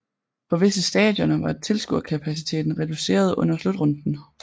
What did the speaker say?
På visse stadioner var tilskuerkapaciteten reduceret under slutrunden